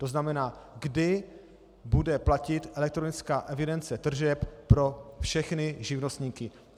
To znamená, kdy bude platit elektronická evidence tržeb pro všechny živnostníky?